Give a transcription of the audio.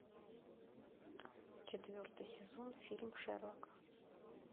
четвертый сезон фильм шерлок